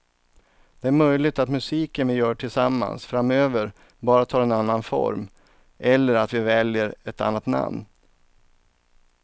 Det är möjligt att musiken vi gör tillsammans framöver bara tar en annan form eller att vi väljer ett annat namn.